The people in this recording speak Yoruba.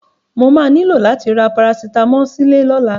Mo máa ní lò láti ra Parasitámọ̀ sílé lọ́la.